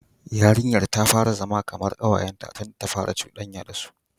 Yarinyar ta fara zama kamar kawayenta tunda ta fara cudanya da su.